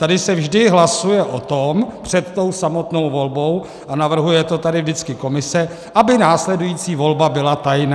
Tady se vždy hlasuje o tom před tou samotnou volbou a navrhuje to tady vždycky komise, aby následující volba byla tajná.